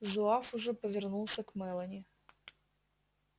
зуав уже повернулся к мелани